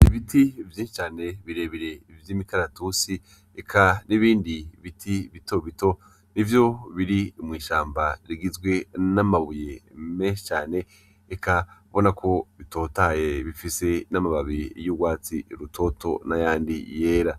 Ibiti vyinshi cane birebire vy'imikaratusi eka n'ibindi biti bitobito, n'ivyo biri mw'ishamba rigizwe n'amabuye menshi cane eka ubona ko bitotahaye bifise n'amababi y'urwatsi rutoto n'ayandi yera.